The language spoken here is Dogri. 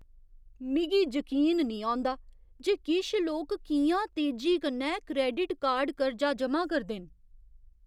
मिगी जकीन निं औंदा जे किश लोक कि'यां तेजी कन्नै क्रैडिट कार्ड कर्जा जमा करदे न।